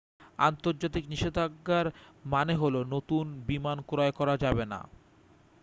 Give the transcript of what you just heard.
আন্তর্জাতিক নিষেধাজ্ঞার মানে হলো নতুন বিমান ক্রয় করা যাবেনা